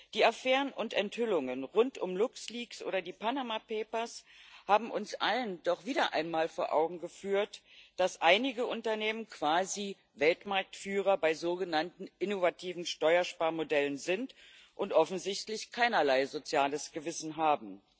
Die Affären und Enthüllungen rund um LuxLeaks oder die Panama Papers haben uns allen doch wieder einmal vor Augen geführt, dass einige Unternehmen quasi Weltmarktführer bei sogenannten innovativen Steuersparmodellen sind und offensichtlich keinerlei soziales Gewissen haben.